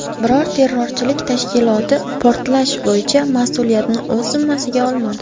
Biror terrorchilik tashkiloti portlash bo‘yicha mas’uliyatni o‘z zimmasiga olmadi.